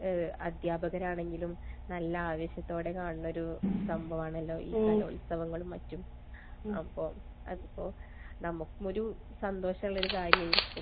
അധ്യാപകരാണെങ്കിലും നല്ല ആവേശത്തോടെ കാണുന്നൊരു സംഭവമാണല്ലോ ഈ കലോത്സവങ്ങളും മറ്റും. അപ്പൊ അതിപ്പോൾ നമുക്കും ഒരു സന്തോഷം ഉള്ളൊരു കാര്യമായി അത്.